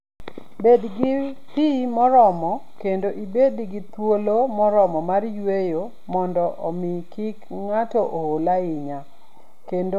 Bed gi pi moromo kendo ibed gi thuolo moromo mar yueyo mondo omi kik ng'ato ool ahinya, kendo mondo omi obed motang '.